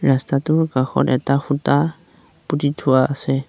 ৰাস্তাটোৰ কাষত এটা খুঁটা পুতি থোৱা আছে।